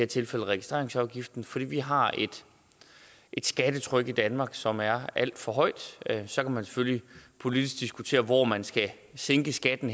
tilfælde registreringsafgiften fordi vi har et skattetryk i danmark som er alt for højt så kan man selvfølgelig politisk diskutere hvor henne man skal sænke skatten